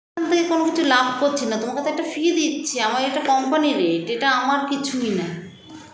তে কোনো কিছু লাভ করছিনা তোমাকেতো একটা fee দিচ্ছি আমার এটা company -র rate এটা আমার কিছুই না